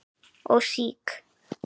og SÍK.